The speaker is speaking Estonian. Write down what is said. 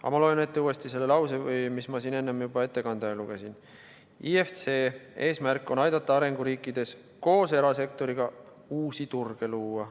Aga ma loen uuesti ette laused, mis ma juba ettekande ajal ette lugesin: "IFC eesmärk on aidata arenguriikides koos erasektoriga uusi turge luua.